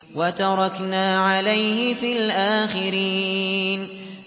وَتَرَكْنَا عَلَيْهِ فِي الْآخِرِينَ